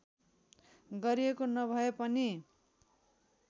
गरिएको नभए पनि